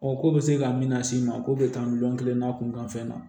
ko bɛ se ka min las'i ma k'o bɛ taa miliyɔn kelen na kunkanfɛn na